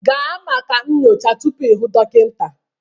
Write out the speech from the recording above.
Gaa maka nyocha tupu ị hụ dọkịta